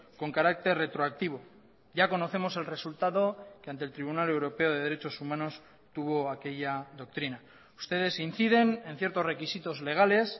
con carácter retroactivo ya conocemos el resultado que ante el tribunal europeo de derechos humanos tuvo aquella doctrina ustedes inciden en ciertos requisitos legales